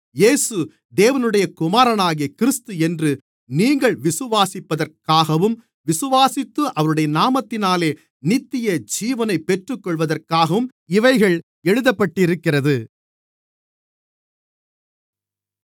இயேசு தேவனுடைய குமாரனாகிய கிறிஸ்து என்று நீங்கள் விசுவாசிப்பதற்காகவும் விசுவாசித்து அவருடைய நாமத்தினாலே நித்தியஜீவனைப் பெற்றுக்கொள்வதற்காகவும் இவைகள் எழுதப்பட்டிருக்கிறது